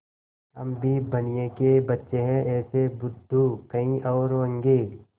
हम भी बनिये के बच्चे हैं ऐसे बुद्धू कहीं और होंगे